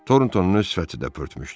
Torontonun öz sifəti də pörtmüşdü.